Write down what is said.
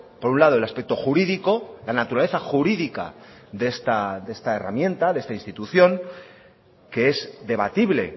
por un lado el aspecto jurídico la naturaleza jurídica de esta herramienta de esta institución que es debatible